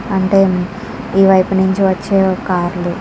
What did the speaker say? అంటే ఈ వైపు నుంచి వచ్చే కార్ లు --